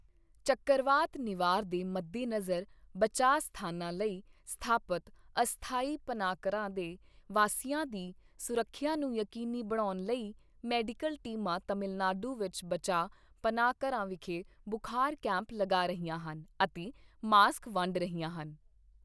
ਚੱਕਰਵਾਤ ਨਿਵਾਰ ਦੇ ਮੱਦੇ ਨਜ਼ਰ ਬਚਾਅ ਸਥਾਨਾਂ ਲਈ ਸਥਾਪਤ ਅਸਥਾਈ ਪਨਾਹਘਰਾਂ ਦੇ ਵਾਸੀਆਂ ਦੀ ਸੁਰੱਖਿਆ ਨੂੰ ਯਕੀਨੀ ਬਣਾਉਣ ਲਈ, ਮੈਡੀਕਲ ਟੀਮਾਂ ਤਮਿਲਨਾਡੂ ਵਿੱਚ ਬਚਾਅ ਪਨਾਹ ਘਰਾਂ ਵਿਖੇ ਬੁਖਾਰ ਕੈਂਪ ਲਗਾ ਰਹੀਆਂ ਹਨ ਅਤੇ ਮਾਸਕ ਵੰਡ ਰਹੀਆਂ ਹਨ।